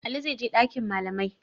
Ali zai je ɗakin malamai.